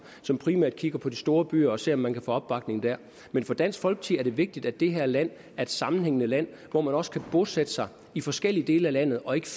som primært kigger på de store byer og ser om man kan få opbakning der men for dansk folkeparti er det vigtigt at det her land er et sammenhængende land hvor man også kan bosætte sig i forskellige dele af landet og ikke